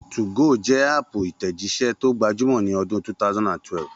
2go jẹ́ háàpù ìtẹ̀jíṣẹ́ tó gbajúmọ̀ ní ọdún 2012